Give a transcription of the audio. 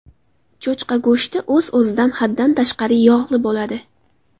Cho‘chqa go‘shti o‘z-o‘zidan haddan tashqari yog‘li bo‘ladi.